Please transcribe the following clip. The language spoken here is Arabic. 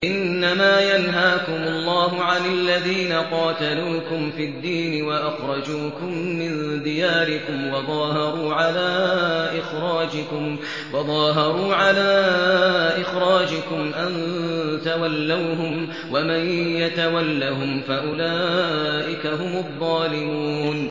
إِنَّمَا يَنْهَاكُمُ اللَّهُ عَنِ الَّذِينَ قَاتَلُوكُمْ فِي الدِّينِ وَأَخْرَجُوكُم مِّن دِيَارِكُمْ وَظَاهَرُوا عَلَىٰ إِخْرَاجِكُمْ أَن تَوَلَّوْهُمْ ۚ وَمَن يَتَوَلَّهُمْ فَأُولَٰئِكَ هُمُ الظَّالِمُونَ